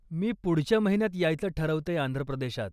मी पुढच्या महिन्यात यायचं ठरवतेय आंध्रप्रदेशात.